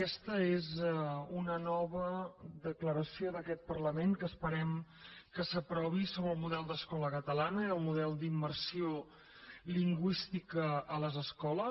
aquesta és una nova declaració d’aquest parlament que esperem que s’aprovi sobre el model d’escola catalana i el model d’immersió lingüística a les escoles